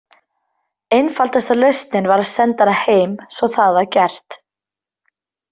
Einfaldasta lausnin var að senda hana heim svo það var gert.